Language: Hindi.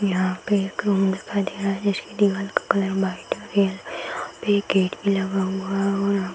यहाँ पे एक रूम दिखाई दे रहा है जिसकी दीवाल का कलर व्हाइट यहाँ पे एक गेट भी लगा हुआ और यहाँ --